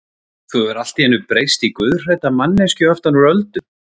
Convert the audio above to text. Þú hefur allt í einu breyst í guðhrædda manneskju aftan úr öldum.